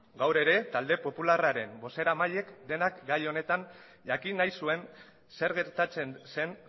gaur ere talde popularraren bozeramaileek denak gai honetan jakin nahi zuen zer gertatzen zen